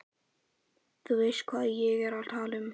Þú veist hvað ég er að tala um.